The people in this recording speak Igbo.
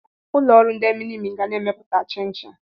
Ụlọ ọrụ ndị minimi ga na-emepụta chinchin.